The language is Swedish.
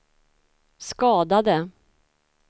skadade